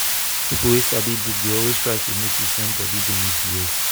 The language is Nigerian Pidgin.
people wey sabi book dey always try notice when when body dey misbehave.